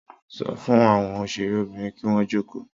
Sọ fún àwọn òṣèré Obìnrin kín wọn joko